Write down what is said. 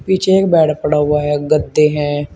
पीछे एक बेड पड़ा हुआ है गद्दे है।